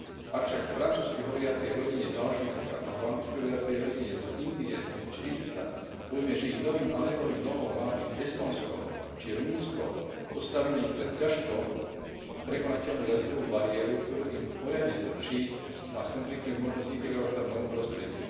Ak však francúzsky hovoriacej rodine z Alžírska alebo anglicky hovoriacej rodine z Indie či Egypta povieme, že ich novým azylovým domovom má byť Estónsko či Rumunsko, postavíme ich pred ťažko prekonateľnú jazykovú bariéru, ktorá im poriadne strpčí a skomplikuje možnosť integrovať sa v novom prostredí.